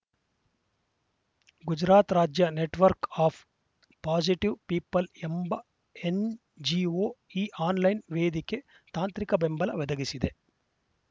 ಗುಜರಾತ್‌ ರಾಜ್ಯ network of positive people ಎಂಬ NGO ಈ ಆನ್‌ಲೈನ್‌ ವೇದಿಕೆ ತಾಂತ್ರಿಕ ಬೆಂಬಲ ವೆದಗಿಸಿದೆ